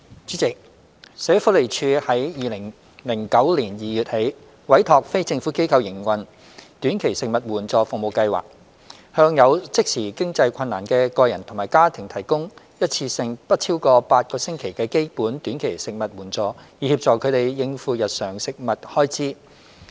主席，社會福利署由2009年2月起，委託非政府機構營運短期食物援助服務計劃，向有即時經濟困難的個人及家庭提供一次性不超過8個星期的基本短期食物援助，以協助他們應付日常食物開支。